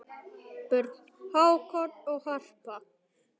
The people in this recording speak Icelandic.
Börn: Hákon og Harpa.